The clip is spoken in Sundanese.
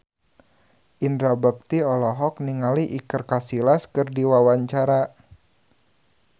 Indra Bekti olohok ningali Iker Casillas keur diwawancara